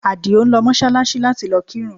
Àdìó ń lọ Mọ́ṣáláṣí láti lọ kírun